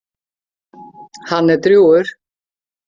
Hann er drjúgur.